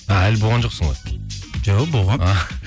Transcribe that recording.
а әлі болған жоқсың ғой жоқ болғанмын